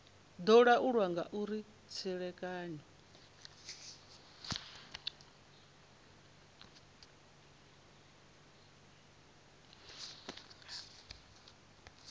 do laulwa nga uri tserekano